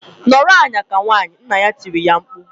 "Nọrọ ala ka nwaanyị!" Nna ya tirile ya mkpu.